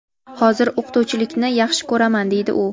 hozir o‘qituvchilikni yaxshi ko‘raman deydi u.